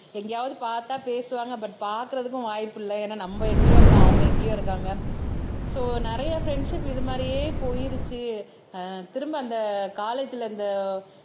எங்கேயாவது பார்த்தா பேசுவாங்க பட் பாக்குறதுக்கும் வாய்ப்பு இல்ல ஏன்னா நம்ம எங்கேயோ இருக்கோம் அவங்க எங்கேயோ இருக்காங்க சோ நிறைய ஃப்ரண்ட்ஷிப் இது மாதிரியே போயிருச்சு திரும்ப அந்த காலேஜ்ல அந்த